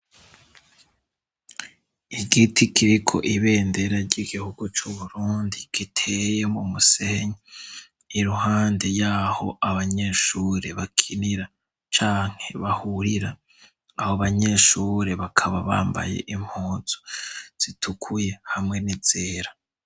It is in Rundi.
Igiti kiriko ibendera g'igihugu c' Uburundi giteye mu musenyi iruhande y'aho abanyeshure bakinira canke bahurira. Abo banyeshure bakaba bambaye impunzu zitukuye hamwe n'izera.